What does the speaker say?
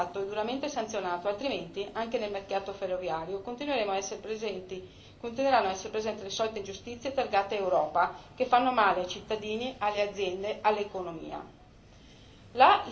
Questo deve essere evitato e duramente sanzionato, altrimenti anche nel mercato ferroviario continueranno a essere presenti le solite ingiustizie targate Europa che fanno male ai cittadini, alle aziende e all'economia.